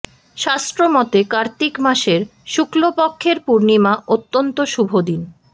শাস্ত্র মতে কার্তিক মাসের শুক্লপক্ষের পূর্ণিমা অত্যন্ত শুভ দিন